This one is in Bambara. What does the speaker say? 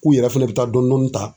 K'u yɛrɛ fɛnɛ bɛ taa dɔɔnin dɔɔnin ta.